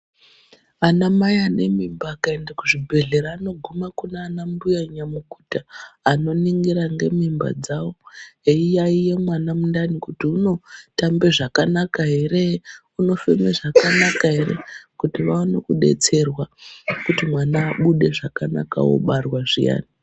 Anamai ane mimba akaende kuzvibhedhlera anoguma kuna ana mbuya nyamukuta, anoningira ngemimba dzavo, eiyaiye mwana mundani kuti unotambe zvakanaka ere, unofeme zvakanaka ere kuti vaone kudetserwa, kuti mwana abude zvakanaka obarwa zviyani.